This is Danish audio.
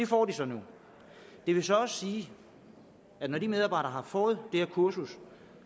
får de så nu det vil så sige at når de medarbejdere har fået det her kursus